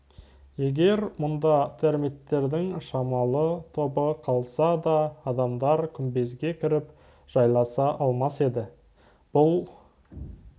егер мұнда термиттердің шамалы тобы қалса да адамдар күмбезге кіріп жайласа алмас еді